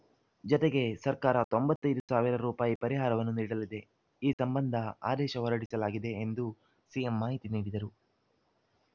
ಜತೆಗೆ ಸರ್ಕಾರ ತೊಂಬತ್ತ್ ಐದು ಸಾವಿರ ರುಪಾಯಿ ಪರಿಹಾರವನ್ನೂ ನೀಡಲಿದೆ ಈ ಸಂಬಂಧ ಆದೇಶ ಹೊರಡಿಸಲಾಗಿದೆ ಎಂದು ಸಿಎಂ ಮಾಹಿತಿ ನೀಡಿದರು